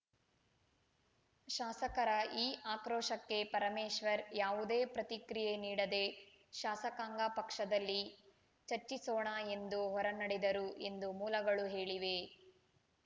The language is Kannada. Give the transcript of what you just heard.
ಶಾಸಕರ ಈ ಆಕ್ರೋಶಕ್ಕೆ ಪರಮೇಶ್ವರ್‌ ಯಾವುದೇ ಪ್ರತಿಕ್ರಿಯೆ ನೀಡದೆ ಶಾಸಕಾಂಗ ಪಕ್ಷದಲ್ಲಿ ಚರ್ಚಿಸೋಣ ಎಂದು ಹೊರನಡೆದರು ಎಂದು ಮೂಲಗಳು ಹೇಳಿವೆ